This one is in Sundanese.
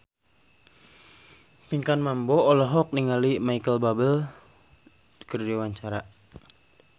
Pinkan Mambo olohok ningali Micheal Bubble keur diwawancara